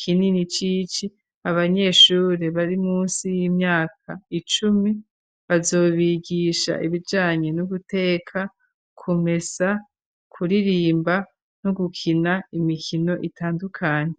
kinini c'ici abanyeshuri bari munsi y'imyaka icumi, bazobigisha ibijanye no guteka, kumesa, kuririmba no gukina imikino itandukanye.